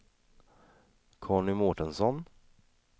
Conny Mårtensson